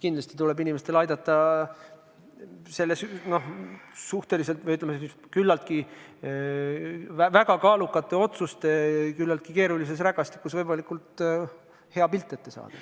Kindlasti tuleb inimestel aidata selles väga kaalukate otsuste küllaltki keerulises rägastikus võimalikult selge pilt ette saada.